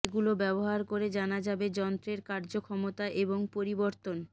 এগুলো ব্যবহার করে জানা যাবে যন্ত্রের কার্যক্ষমতা এবং পরিবর্তন